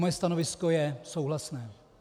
Moje stanovisko je souhlasné.